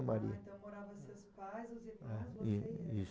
Maria. Ah, então moravam seus pais, os irmãos, você e ela. É, isso.